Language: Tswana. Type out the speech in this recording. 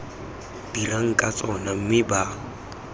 dirang ka tsona mme ba